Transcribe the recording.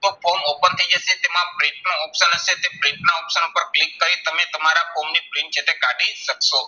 તો form open થઇ જશે. તેમાં print નો option હશે. Print ના option ઉપર click કરી તમે તમારા form ની print જે છે કાઢી શકશો.